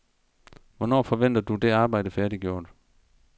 Hvornår forventer du det arbejde færdiggjort?